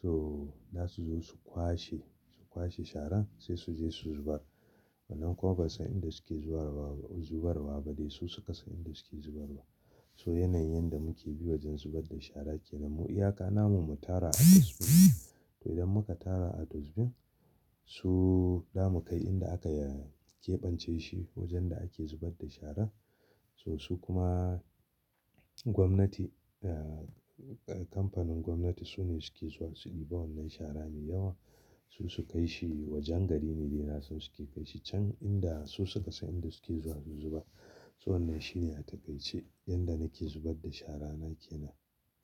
To za su zo su kwashe, su kwashe sharan sai su zo su zubar. Wannan kuma ba san inda suke zuwa zubar wa ba dai su suka san inda suke zubar wa. So yanayin yanda muke bi wajen zubar da shara kenan mu iyaka namu mu tara a dustbin. To idan muka tara a dustbin su damu kai inda aka keɓance shi wajen da ake zubar da sharar. So su kuma gwamnati, kamfanin gwamnati su ne suke zuwa su ɗiba wannan shara mai yawa su su kai shi wajen gari ne dai na san suke kai shi can inda su suka san inda suke zuwa su zuba. So wannan shine a taƙaice yanda nake zubar da shara na kenan.